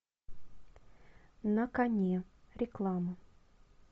на коне реклама